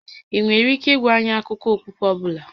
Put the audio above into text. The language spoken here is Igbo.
Ị nwere ike ịgwa anyị akụkọ okpukpe ọ bụla?